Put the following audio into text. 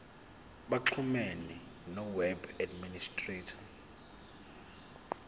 baxhumane noweb administrator